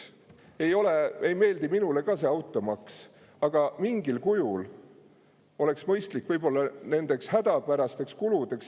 Ei meeldi minule ka see automaks, aga mingil kujul on see mõistlik nendeks hädapärasteks kuludeks.